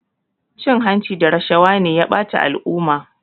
Cin hanci da rashawa ne ya bata al'umma